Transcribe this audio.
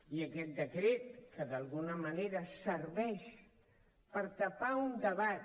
i aquest decret que d’alguna manera serveix per tapar un debat